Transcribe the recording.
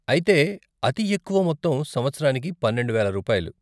అయితే, అతి ఎక్కువ మొత్తం సంవత్సరానికి పన్నెండు వేల రూపాయలు.